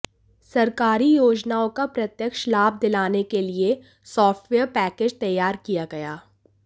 सरकारी योजनाओं का प्रत्यक्ष लाभ दिलाने के लिए सॉफ्टवेयर पैकेज तैयार किया गया